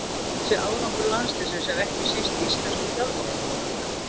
Þessi árangur landsliðsins er ekki síst íslenskum þjálfurum að þakka.